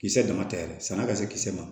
Kisɛ dama tɛ yɛrɛ sanna ka se kisɛ ma